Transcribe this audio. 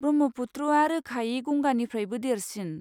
ब्रह्मपुत्रआ रोखायै गंगानिफ्रायबो देरसिन।